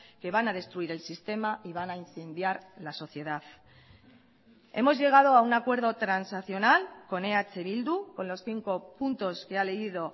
que van a destruir el sistema y van a incendiar la sociedad hemos llegado a un acuerdo transaccional con eh bildu con los cinco puntos que ha leído